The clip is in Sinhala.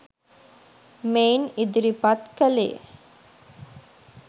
මෙයින් ඉදිරිපත් කළේ